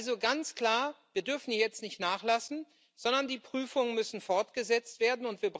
Also ganz klar Wir dürfen jetzt nicht nachlassen, sondern die Prüfungen müssen fortgesetzt werden.